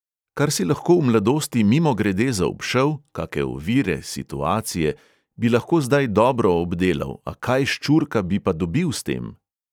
Kar si lahko v mladosti mimogrede zaobšel, kake ovire, situacije, bi lahko zdaj dobro obdelal, a kaj ščurka bi pa dobil s tem?